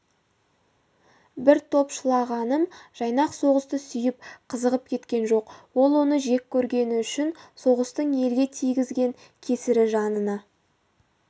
бір топшылағаным жайнақ соғысты сүйіп қызығып кеткен жоқ ол оны жек көргені үшін соғыстың елге тигізген кесірі жанына